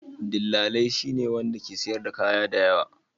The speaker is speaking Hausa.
Dillali shine wanda ke siyar da kaya da yawa.